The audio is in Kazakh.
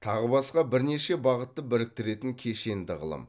тағы басқа бірнеше бағытты біріктіретін кешенді ғылым